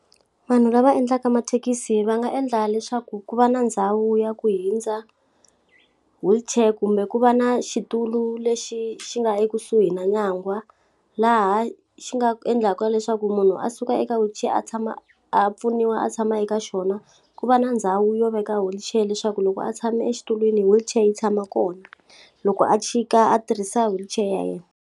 Vanhu lava endlaka mathekisi va nga endla leswaku ku va na ndhawu ya ku hundza wheelchair kumbe ku va na xitulu lexi xi nga ekusuhi na nyangwa. Laha xi nga endlaka leswaku munhu a suka eka wheelchair a tshama a pfuniwa a tshama eka xona, ku va na ndhawu yo veka wheelchair leswaku loko a tshame exitulwini wheelchair yi tshama kona. Loko a chika a tirhisa wheelchair ya yena.